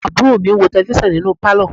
Àwọn àbúrò mi ń wo Tẹlifísàn nínú Pálọ̀